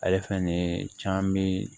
Ale fɛn nin caaman be